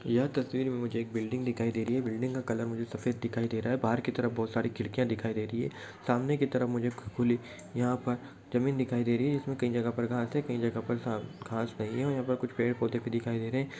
यह तस्वीर में मुझे एक बिल्डिंग दिखाई दे रही है। बिल्डिंग का कलर मुझे सफेद दिखाई दे रहा है। बाहर की तरफ बहुत सारी खिडकिया दिखाई दे रही है। सामने की तरफ मुझे खु खुली यहाँ पर जमीन दिखाई दे रही है। ईसमे कई जगह पर घास है कई जगह पर साफ घास नहीं है। और यहाँ पे कुछ पेड- पौधे भी दिखाई दे रहे हैं।